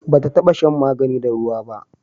ba ta taba shan magani da ruwa ba